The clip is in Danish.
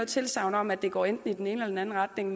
tilsagn om at det går enten i den ene eller anden retning